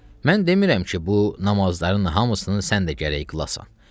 Mən demirəm ki, bu namazların hamısını sən də gərək qılasan.